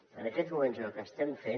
en aquests moments és el que estem fent